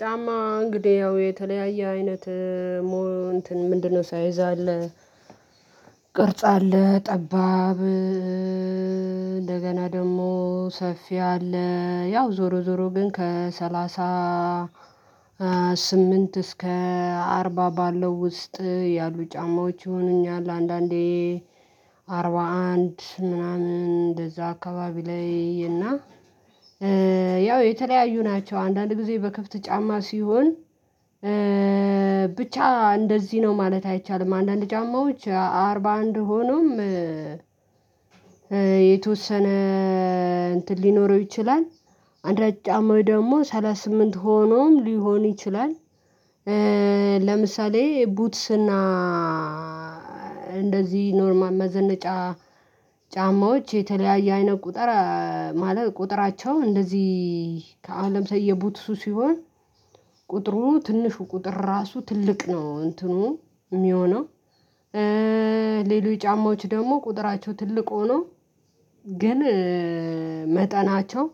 ጫማ እንግዲህ ያው የተለያየ አይነት ምንድነው? ሳይዝ አለ ቅርጽ አለ ጠባብ እንደገና ደግሞ ሰፊ አለ ያው ዞሮ ዞሮ ግን ከሰላሳ ስምንት እስከ አርባ ባለው ውስጥ ያሉ ጫማዎች ይሆኑኛል። አንዳንዴ አንድ ምናምን እንደዛ አካባቢ ላይ እና ያው የተለያዩ ናቸው አንዳንድ ጊዜ በክፍት ጫማ ሲሆን ብቻ እንደዚህ ነው ማለት አይቻልም። አንዳንድ ጫማዎች አርባ አንድ ሆኖም የተወሰነ እንትን ሊኖረው ይችላል አንድ ጫማው ደግሞ ሰላሳ ስምንት ሆኖም ሊሆን ይችላል። ለምሳሌ ቡትስና እንደዚህ ኖርማል መዘነጫ ጫማዎች የተለያየ አይነት ቁጥር ማለት ቁጥራቸው እንደዚህ ከአለም የ ቡትሱ ሲሆን ቁጥሩ ትንሹ ቁጥር ራሱ ትልቅ ነው እንትኑ የሚሆነው። ሌሎች ጫማዎች ደግሞ ቁጥራቸው ትልቅ ሆኖ ግን መጠናቸው